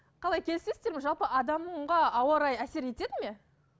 қалай келісесіздер ме жалпы адамға ауа райы әсер етеді ме